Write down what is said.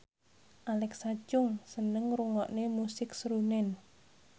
Alexa Chung seneng ngrungokne musik srunen